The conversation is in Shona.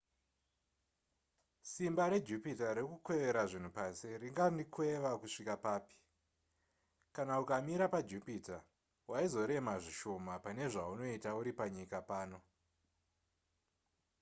simba rejupiter rekukwevera zvinhu pasi ringandikweva kusvika papi kana ukamira pajupiter waizorema zvishoma pane zvaunoita uri panyika pano